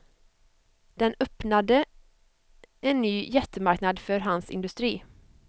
Den öppnade en ny jättemarknad för hans industri.